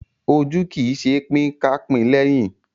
Ojú kì í ṣe pin ká pín léhín.